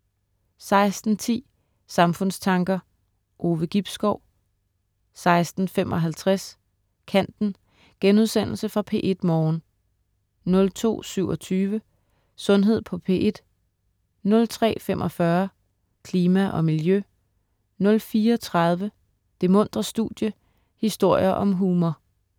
16.10 Samfundstanker. Ove Gibskov 16.55 Kanten* Genudsendelse fra P1 Morgen 02.27 Sundhed på P1* 03.45 Klima og miljø* 04.30 Det muntre studie, historier om humor*